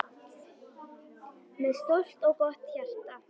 Með stórt og gott hjarta.